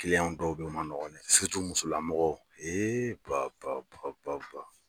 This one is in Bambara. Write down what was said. Kiliyan dɔw bɛ ye u man nɔgɔ dɛ musolamɔgɔw pa pa pa pa pa.